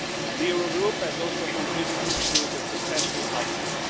The Eurogroup has also contributed to the successful outcome.